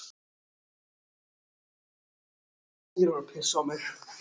En þú ert engin undirlægja Ísbjörg.